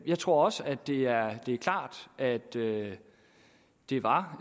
jeg tror også at det er klart at det det var